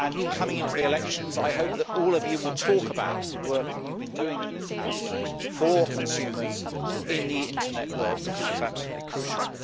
Coming up to the elections I hope that all of you will talk about the work you have been doing in this House for consumers in the Internet world because it is absolutely crucial.